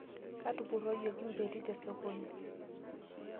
Katupuroyieki mbeti tesokoni